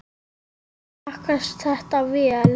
Smakkast þetta vel?